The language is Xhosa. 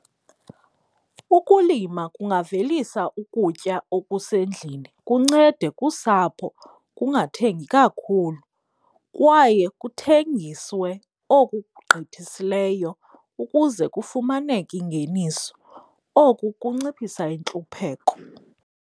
Ukulima kungavelisa ukutya okusendlini kuncede kusapho kungathengi kakhulu kwaye kuthengiswe oku kugqithisileyo ukuze kufumaneke ingeniso. Oku kunciphisa intlupheko.